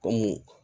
Kɔmi